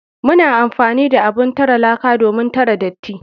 Muna amfani da abun tare laka domin tare datti.